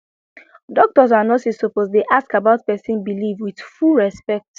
doctors and nurses suppose dey ask about person belief with full respect